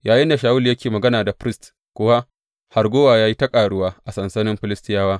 Yayinda Shawulu yake magana da firist kuwa, harguwa ya yi ta ƙaruwa a sansanin Filistiyawa.